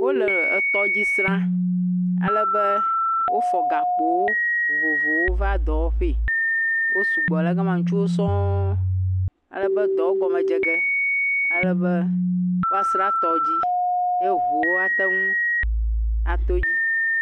Wole etɔdzi srã alebe wofɔ gakpowo vovovowo va dɔwɔ ƒe, wo sugbɔ le ga ma ŋutsuwo sɔ̃ɔ̃, alebe dɔ gɔme dzege alebe woasra tɔdzi ye ʋuwo woateŋu ato dzi.